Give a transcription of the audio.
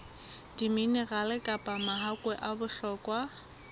diminerale kapa mahakwe a bohlokwa